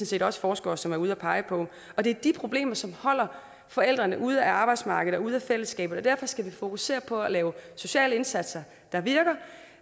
set også forskere som er ude at pege på og det er de problemer som holder forældrene ude af arbejdsmarkedet og ude af fællesskabet derfor skal vi fokusere på at lave sociale indsatser der virker